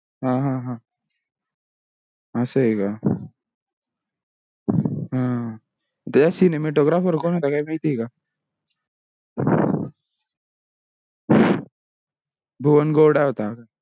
हा हा हा. असा आहे का. त्याच cinematographer कोण होता काही माहिती हे का? भुवन गोंडा होता